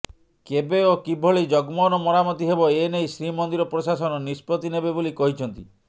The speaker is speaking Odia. କେବେ ଓ କିଭଳି ଜଗମୋହନ ମରାମତି ହେବ ଏନେଇ ଶ୍ରୀମନ୍ଦିର ପ୍ରଶାସନ ନିଷ୍ପତ୍ତି ନେବେ ବୋଲି କହିଛନ୍ତି